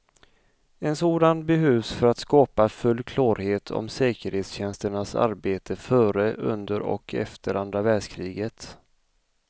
En sådan behövs för att skapa full klarhet om säkerhetstjänsternas arbete före, under och efter andra världskriget.